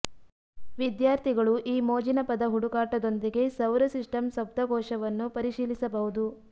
ವಿದ್ಯಾರ್ಥಿಗಳು ಈ ಮೋಜಿನ ಪದ ಹುಡುಕಾಟದೊಂದಿಗೆ ಸೌರ ಸಿಸ್ಟಮ್ ಶಬ್ದಕೋಶವನ್ನು ಪರಿಶೀಲಿಸಬಹುದು